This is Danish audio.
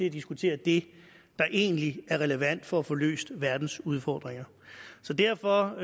at diskutere det der egentlig er relevant for at få løst verdens udfordringer derfor